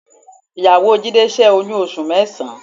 Ìyàwó Jídé ṣẹ́ oyún oṣù mẹ́sàn-án